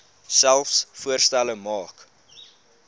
selfs voorstelle maak